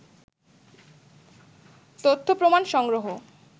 তথ্যপ্রমাণ সংগ্রহ